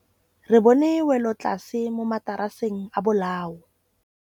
Re bone wêlôtlasê mo mataraseng a bolaô.